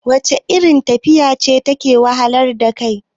wacce irin tafiya ce take wahalar da kai?